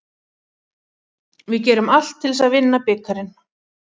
Við gerum allt til þess að vinna bikarinn.